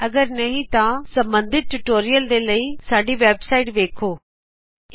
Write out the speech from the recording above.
ਅਗਰ ਨਹੀਂ ਤਾਂ ਇਸ ਨਾਲ ਸੰਬੰਧਿਤ ਟਯੂਟੋਰਿਅਲਸ ਦੇ ਲਈ ਕ੍ਰਿਪਾ ਕਰਕੇ ਸਾਡੀ ਵੇਬਸਾਇਟ hhtpspoken ਟਿਊਟੋਰੀਅਲ ਵੇਖੋ